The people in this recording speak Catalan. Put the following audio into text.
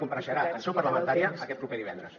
compareixerà en seu parlamentària aquest proper divendres